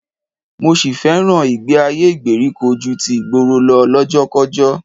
Mo sì fẹ́ràn ìgbé-ayé ìgbèríko ju ti ìgboro lọ lọ́jọ́kọ́kọ́